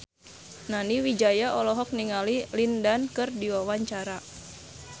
Nani Wijaya olohok ningali Lin Dan keur diwawancara